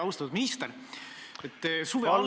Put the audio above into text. Austatud minister!